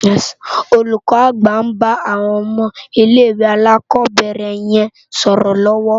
Olúkò ágbà n bá áwòn òmò ilé iwé álákòbèrè yèn sòrò lòwò